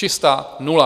Čistá nula.